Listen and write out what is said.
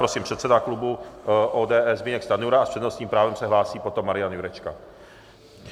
Prosím, předseda klubu ODS Zbyněk Stanjura a s přednostním právem se hlásí potom Marian Jurečka.